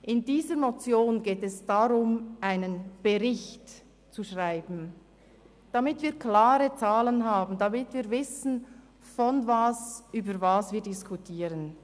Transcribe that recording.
In dieser Motion geht es darum, einen Bericht zu schreiben, damit wir klare Zahlen haben und wissen, worüber wir diskutieren.